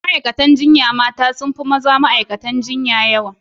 Ma'aikatan jinya mata sun fi yawa fiye da mazan ma'aikatan jinya.